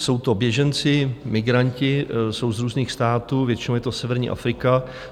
Jsou to běženci, migranti, jsou z různých států, většinou je to severní Afrika.